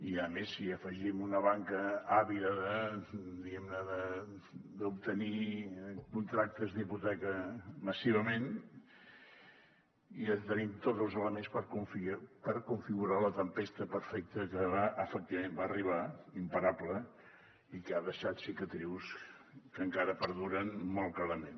i a més si hi afegim una banca àvida diguem ne d’obtenir contractes d’hipoteca massivament ja tenim tots els elements per configurar la tempesta perfecta que efectivament va arribar imparable i que ha deixat cicatrius que encara perduren molt clarament